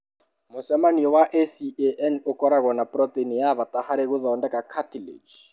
Mũcemanio wa ACAN ũkoragwo na protein ya bata harĩ gũthondeka cartilage.